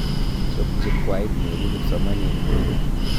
Chob jukwait neibu kipsomanink tugul